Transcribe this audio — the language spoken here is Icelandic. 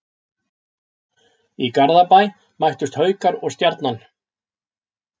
Í Garðabæ mættust Haukar og Stjarnan.